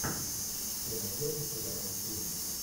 ты найдешь у себя мультфильм